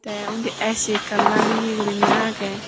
tey undi A_C ekkan lageye guriney agey.